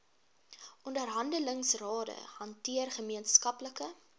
onderhandelingsrade hanteer gemeenskaplike